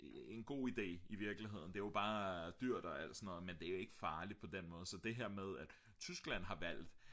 en god ide i virkeligheden det er bare dyrt og alt sådan noget men det er ikke farligt på den måde så det her med at Tyskland har valgt